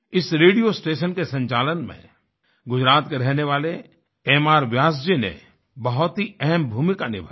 इस radio station के संचालन में गुजरात के रहने वाले एमआर व्यास जी ने बहुत ही अहम भूमिका निभाई